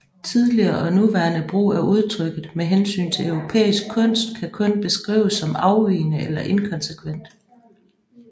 Tidligere og nuværende brug af udtrykket med hensyn til europæisk kunst kan kun beskrives som afvigende eller inkonsekvent